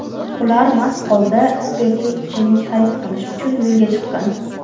ular mast holda spirtli ichimlik xarid qilish uchun yo‘lga chiqqan.